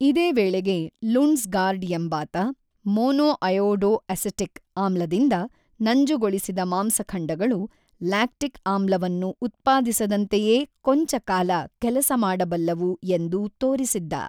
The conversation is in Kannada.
ಇದೇ ವೇಳೆಗೆ ಲುಂಡ್ಸ್ ಗಾರ್ಡ್ ಎಂಬಾತ ಮಾನೋಐಯೋಡೋ ಅಸಿಟಿಕ್ ಆಮ್ಲದಿಂದ ನಂಜುಗೊಳಿಸಿದ ಮಾಂಸಖಂಡಗಳು ಲ್ಯಾಕ್ಟಿಕ್ ಆಮ್ಲವನ್ನು ಉತ್ಪಾದಿಸದಂತೆಯೇ ಕೊಂಚ ಕಾಲ ಕೆಲಸ ಮಾಡಬಲ್ಲವು ಎಂದು ತೋರಿಸಿದ್ದ.